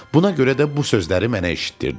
Buna görə də bu sözləri mənə eşitdirdi.